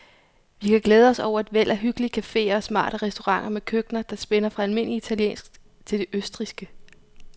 Vi kan glæde os over et væld af hyggelige caféer og smarte restauranter med køkkener, der spænder fra almindelig italiensk til det østrigske.